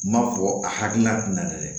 M'a fɔ a hakilina tɛ na dɛ